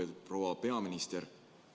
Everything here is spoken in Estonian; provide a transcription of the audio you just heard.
Lugupeetud proua peaminister!